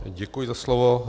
Děkuji za slovo.